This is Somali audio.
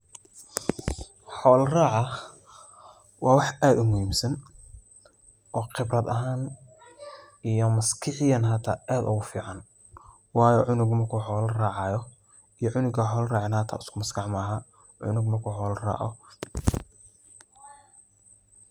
Xoola raaca waa wax aad u muhiimsan oo qibrad ahan iyo maskixiyan hata aad ogu fican wayo cunug marku xoola racayo iyo cunug an xoola raceynin hata isku maskax ma aha, cunug marku xoola raaco wuu aqli badiya